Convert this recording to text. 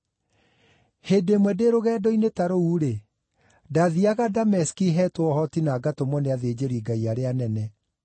“Hĩndĩ ĩmwe ndĩ rũgendo-inĩ ta rũu-rĩ, ndaathiiaga Dameski heetwo ũhoti na ngatũmwo nĩ athĩnjĩri-Ngai arĩa anene.